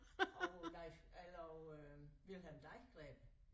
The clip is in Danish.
Og Leif eller og øh Wilhelm Deichgräber